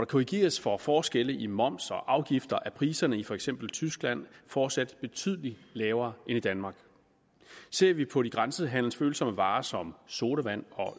korrigeres for forskellene i moms og afgifter er priserne i for eksempel tyskland fortsat betydeligt lavere end i danmark ser vi på de grænsehandelsfølsomme varer som sodavand og